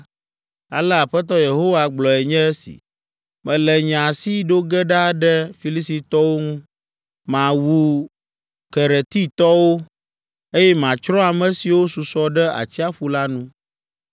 ale Aƒetɔ Yehowa gblɔe nye esi: Mele nye asi ɖo ge ɖa ɖe Filistitɔwo ŋu, mawu Keretitɔwo, eye matsrɔ̃ ame siwo susɔ ɖe atsiaƒu la nu.